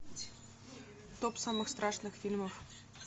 топ самых страшных фильмов